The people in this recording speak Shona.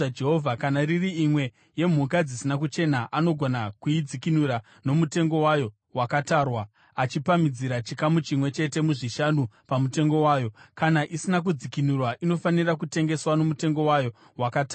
Kana iri imwe yemhuka dzisina kuchena, anogona kuidzikinura nomutengo wayo wakatarwa, achipamhidzira chikamu chimwe chete muzvishanu pamutengo wayo. Kana isina kudzikinurwa, inofanira kutengeswa nomutengo wayo wakatarwa.